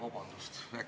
Vabandust!